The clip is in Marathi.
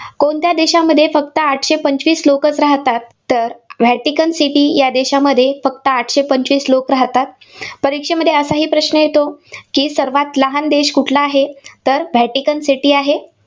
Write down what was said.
कोणत्या देशांमध्ये फक्त आठशे पंचवीस लोकंचं राहतात? तर व्हॅटिकन सिटी या देशामध्ये फक्त आठशे पंचवीस लोक राहतात. परीक्षेमध्ये असाही प्रश्न येतो की, सर्वात लहान देश कुठला आहे? तर व्हॅटिकन सिटी आहे.